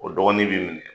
O dɔgɔnin bi minɛ